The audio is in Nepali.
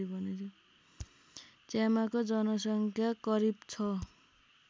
च्यामाको जनसङ्ख्या करिब छ